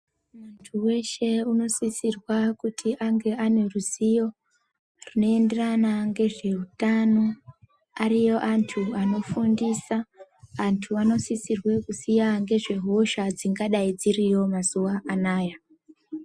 Muntu weshe unosisirwa kuti ange aneruziyo zvinoenderana ngezveutano, ariyo antu anofundisa, antu anosisirwa kuziya ngezvehosha dzingadai dziriyo mazuva anaya.